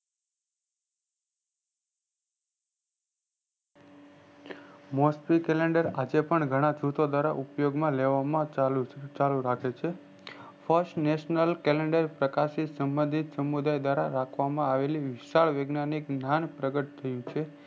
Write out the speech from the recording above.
મોસમી calendar આજે પણ ઘણા જૂથો દ્રારા ઉપયોગ માં ચાલુ રાખે છે first national first national calendar પ્રકાશિત સંભ્દિત સમુદાય દ્રારારાખવામાં આવેલી વિશાળ વિજ્ઞાનીક મહાન પ્રગટ થયું છે